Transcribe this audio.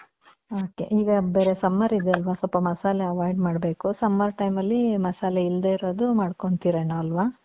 ok, ಈಗ ಬೇರೆ summer ಇದೆ ಅಲ್ವ ಸ್ವಲ್ಪ ಮಸಾಲೆ avoid ಮಾಡ್ಬೇಕು. summer time ಅಲ್ಲಿ ಮಸಾಲೆ ಇಲ್ದೆ ಇರೋದು ಮದ್ಕೊಂಡ್ತಿರೆನೊ ಅಲ್ವ?